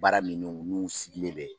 Baara nunnu n'u sigilen bɛ